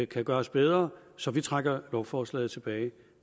kan gøres bedre så vi trækker lovforslaget tilbage